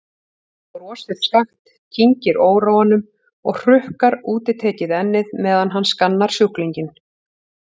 Hann brosir skakkt, kyngir óróanum og hrukkar útitekið ennið meðan hann skannar sjúklinginn.